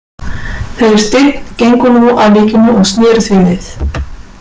Þeir Steinn gengu nú að líkinu og sneru því við.